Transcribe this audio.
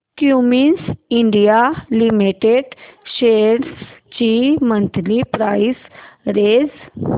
Cummins India limited shares ची monthly price range